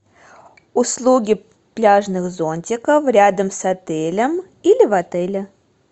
услуги пляжных зонтиков рядом с отелем или в отеле